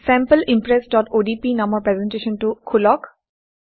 sample impressঅডিপি নামৰ প্ৰেজেণ্টেশ্যনটো খোলক